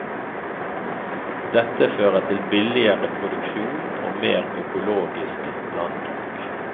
Dette fører til billigere produksjon og mer økologisk landbruk.